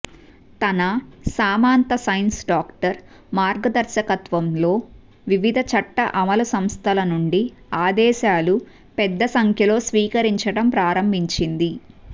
తన సామంత science doctor మార్గదర్శకత్వంలో వివిధ చట్ట అమలు సంస్థల నుండి ఆదేశాలు పెద్ద సంఖ్యలో స్వీకరించడం ప్రారంభించింది